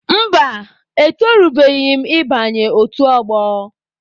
Mba, etorubeghị m ị banye otu ọgbọ.